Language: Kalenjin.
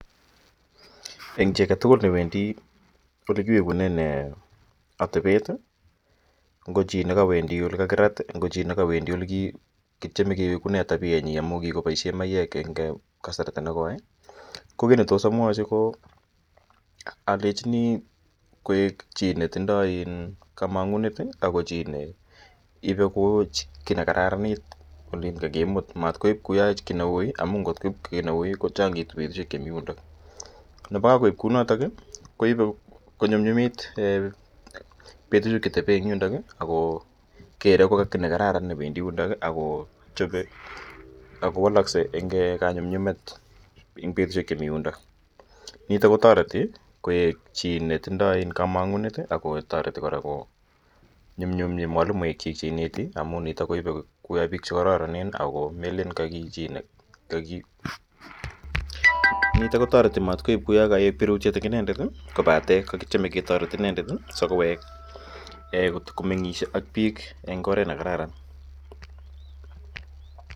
En chi aketugul newendi ole kiwekunen atebet ngo chi newendi ole kakirat ana ole kiwekune tabienyin amun kikoboisien maiyek en kasarta nekoi kokit netos amwochi alenjini koik chi netindoi kamang'unet ako chi ne ibe kou kiit nekararan en ole kakimut ama maui amun kot koib kou kiit neui kochongitu betusiek chemi yundo konyumnyumitu betusiek chetebe en yundo ako woloksei en kanyumnyumet nitok kotoreti koik chi netindo kamang'unet .Nitok kotoreti matkoik birutiet en inendet kobaten kotoreti inendet kowek komeng'is ak biik en oret nekararan.